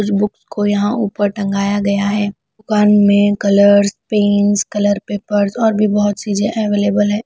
कुछ बुक को यहां ऊपर टंगाया गया है दुकान में कलर्स पेंस कलर पेपर्स और भी बहुत चीजें अवेलेबल है।